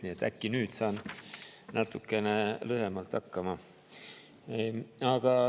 Nii et äkki nüüd saan natukene lühemalt hakkama.